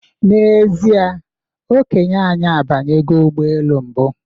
N'ezie, Okenye anyi abanyego ụgbọelu mbụ